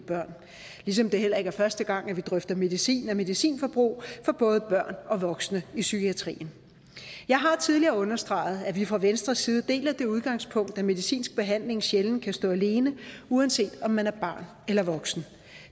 børn ligesom det heller ikke er første gang at vi drøfter medicin og medicinforbrug for både børn og voksne i psykiatrien jeg har tidligere understreget at vi fra venstres side deler det udgangspunkt at medicinsk behandling sjældent kan stå alene uanset om man er barn eller voksen